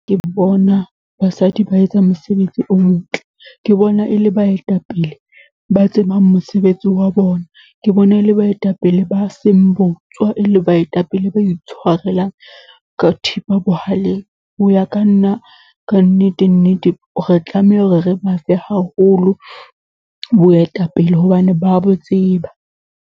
Ke bona basadi ba etsa mosebetsi o motle. Ke bona e le baetapele ba tsebang mosebetsi wa bona. Ke bona e le baetapele ba seng botswa, e le baetapele ba itshwarelang ka thipa ka bohaleng. Ho ya ka nna kannete nnete, re tlameha hore re ba fe haholo boetapele, hobane ba a bo tseba.